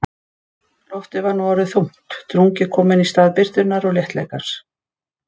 Loftið var nú orðið þungt, drungi kominn í stað birtunnar og léttleikans.